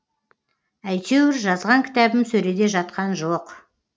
әйтеуір жазған кітабым сөреде жатқан жоқ